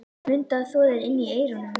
Mundu að þvo þér inni í eyrunum.